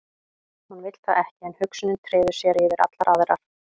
Hún vill það ekki en hugsunin treður sér yfir allar aðrar.